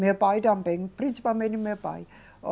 Meu pai também, principalmente meu pai.